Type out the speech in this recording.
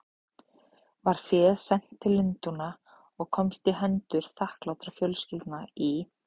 Var féð sent til Lundúna og komst í hendur þakklátra fjölskyldna í